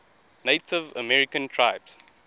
native american tribes